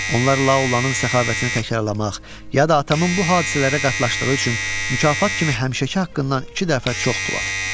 Onlar La olanın səxavətini təkrarlamaq, ya da atamın bu hadisələrə qatlaşdığı üçün mükafat kimi həmişəki haqqından iki dəfə çox pul atdı.